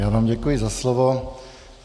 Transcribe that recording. Já vám děkuji za slovo.